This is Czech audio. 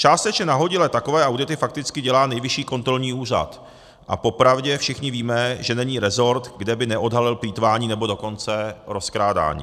Částečně nahodile takové audity fakticky dělá Nejvyšší kontrolní úřad a popravdě všichni víme, že není resort, kde by neodhalil plýtvání, nebo dokonce rozkrádání.